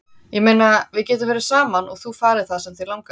Ég meina, við getum verið saman og þú farið það sem þig langar.